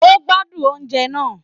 O gbádùn oúnjẹ náà.